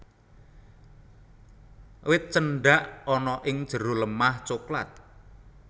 Wit Cendak ana ing jero lemah coklat